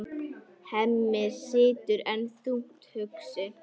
Hemmi situr enn þungt hugsi.